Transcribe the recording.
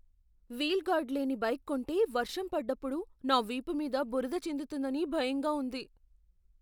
Wheel guard లేని bike కొంటే వర్షం పడ్డప్పుడు నా వీపు మీద బురద చిందుతుందని భయంగా ఉంది.